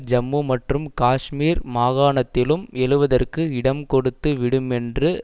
ஜம்மு மற்றும் காஷ்மீர் மாகாணத்திலும் எழுவதற்கு இடம் கொடுத்து விடுமென்று